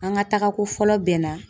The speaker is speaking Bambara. An ka taaga ko fɔlɔ bɛnna.